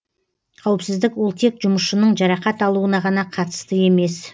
қауіпсіздік ол тек жұмысшының жарақат алуына ғана қатысты емес